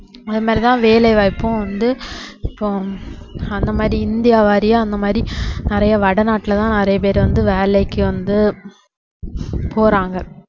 அது மாதிரிதான் வேலைவாய்ப்பும் வந்து இப்போ அந்த மாதிரி இந்தியா வாரியா அந்தமாதிரி நிறைய வடநாட்டுல தான் நிறைய பேர் வந்து வேலைக்கு வந்து போறாங்க